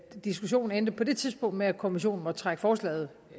diskussionen endte på det tidspunkt med at kommissionen måtte trække forslaget